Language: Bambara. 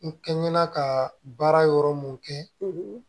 N kɛ ɲina ka baara yɔrɔ mun kɛ